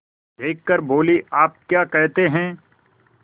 देख कर बोलीआप क्या कहते हैं